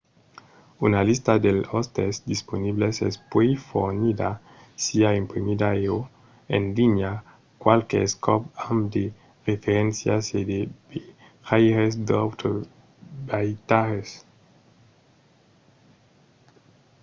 una lista dels òstes disponibles es puèi fornida siá imprimida e/o en linha qualques còps amb de referéncias e de vejaires d’autres viatjaires